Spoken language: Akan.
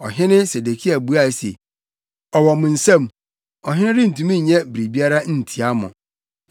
Ɔhene Sedekia buae se, “Ɔwɔ mo nsam, ɔhene rentumi nyɛ biribiara ntia mo.”